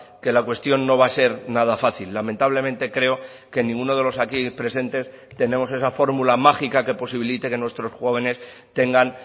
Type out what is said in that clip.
que la cuestión no va a ser nada fácil lamentablemente creo que ninguno de los aquí presentes tenemos esa fórmula mágica que posibilite que nuestros jóvenes tengan